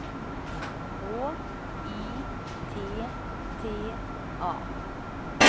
H I T T A